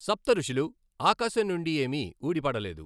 సప్తఋషులు ఆకాశం నుండి ఏమీ ఊడి పడలేదు.